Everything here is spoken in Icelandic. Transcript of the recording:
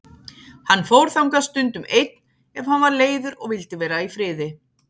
Hann fór þangað stundum einn ef hann var leiður og vildi vera í friði.